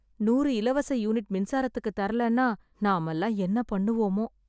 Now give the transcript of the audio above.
நூறு இலவச யூனிட் மின்சாரத்துக்கு தரலனா நாம எல்லாம் என்ன பண்ணுவோமோ